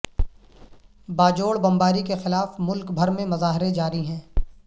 باجوڑ بمباری کے خلاف ملک بھر میں مظاہرے جاری ہیں